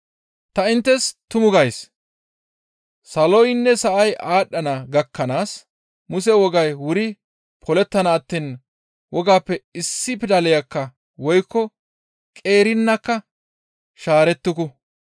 Ta inttes tumu gays, saloynne sa7ay aadhdhana gakkanaas Muse wogay wuri polettana attiin wogaappe issi pidaleykka woykko qeerinakka shaarettuku.